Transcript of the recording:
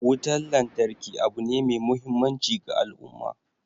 Wutan lantarki abu ne mai muhimmanci ga al'umma